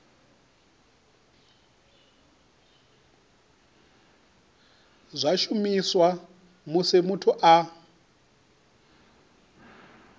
zwa shumiswa musi muthu a